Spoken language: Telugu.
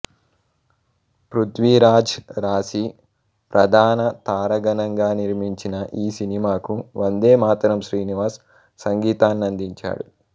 పృధ్వీరాజ్ రాశి ప్రధాన తారాగణంగా నిర్మించిన ఈ సినిమాకు వందేమాతరం శ్రీనివాస్ సంగీతాన్నందించాడు